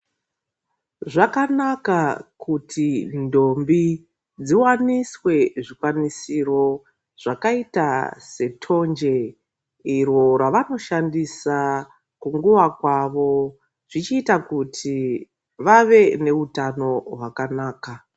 Zvakanaka kuti ndombi dziwaniswe zvikwanisiro zvakaita setonje iro ravanoshandisa kunguwa kwawo zvichiita kuti vave neutano hwakanaka.